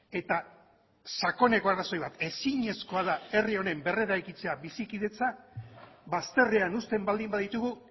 eta sakoneko arrazoi bat ezinezkoa da herri honen berreraikitzea bizikidetza bazterrean uzten baldin baditugu